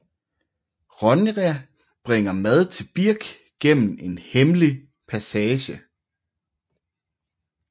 Ronja bringer mad til Birk gennem en hemmelig passage